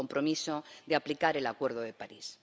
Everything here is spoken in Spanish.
el compromiso de aplicar el Acuerdo de París.